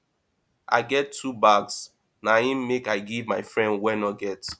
i get two bags na im make i give my friend wey no get